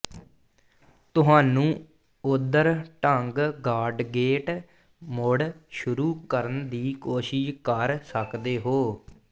ਤੁਹਾਨੂੰ ਓਧਰ ਢੰਗ ਗਾਡਗੇਟ ਮੁੜ ਸ਼ੁਰੂ ਕਰਨ ਦੀ ਕੋਸ਼ਿਸ਼ ਕਰ ਸਕਦੇ ਹੋ